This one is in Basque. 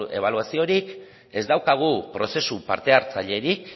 ebaluaziorik ez daukagu prozesu parte hartzailerik